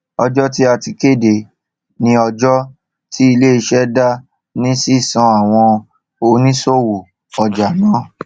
ọjọ tí a kéde ni ọjọ tí iléiṣẹ dá ní sísan àwọn òníṣòwò ọjà náà